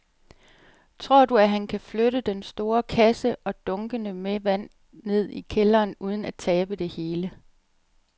Tror du, at han kan flytte den store kasse og dunkene med vand ned i kælderen uden at tabe det hele?